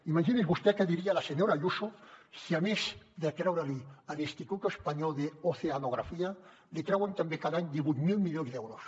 imagini’s vostè què diria la senyora ayuso si a més de treure li l’instituto español de oceanografía li treuen també cada any divuit mil milions d’euros